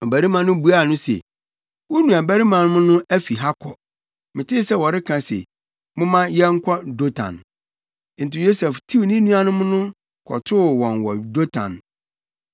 Ɔbarima no buaa no se, “Wo nuabarimanom no afi ha kɔ. Metee sɛ wɔreka se, ‘Momma yɛnkɔ Dotan.’ ” Enti Yosef tiw ne nuanom no, kɔtoo wɔn wɔ Dotan hɔ.